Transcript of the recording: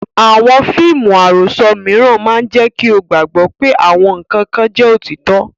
Àwọn fíìmù àròsọ mìíràn máa jẹ́ kí o gbàgbọ́ pé àwọn nǹkan kan jẹ́ òtítọ́.